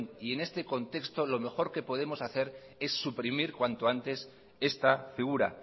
y en este contexto lo mejor que podemos hacer es suprimir cuanto antes esta figura